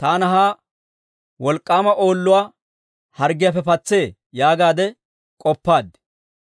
taana ha wolk'k'aama oolluwaa harggiyaappe patsee yaagaadde k'oppaad.